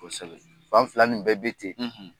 Fan fila nin bɛɛ bi ten.